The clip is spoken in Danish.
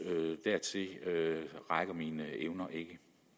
dertil rækker mine evner ikke